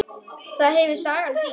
Það hefur sagan sýnt.